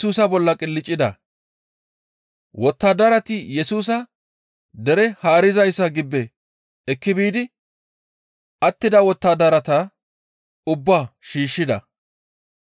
Wottadarati Yesusa dere haarizayssa gibbe ekki biidi attida wottadarata ubbaa shiishshida.